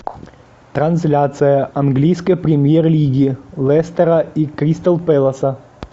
трансляция английской премьер лиги лестера и кристал пэласа